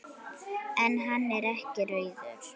En hann er ekki rauður.